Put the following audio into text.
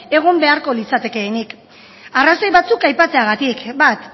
egon beharko litzatekeenik arrazoi batzuk aipatzeagatik bat